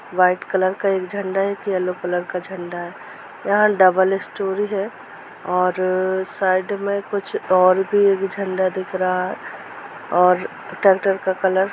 white colour का एक झंडा है एक येलो कलर का झंडा है यहा डबल स्टोर हैऔर साइड में कुछ और भी एक झंडा दिख रहा और ट्रेक्टर का कलर --